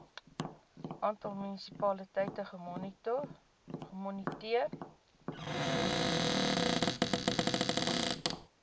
aantal munisipaliteite gemoniteer